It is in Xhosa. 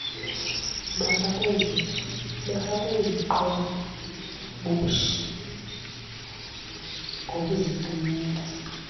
bafakwe iziqhoboshi bokuzicimela